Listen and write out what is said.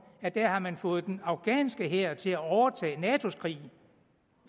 at der har man fået den afghanske hær til at overtage natos krig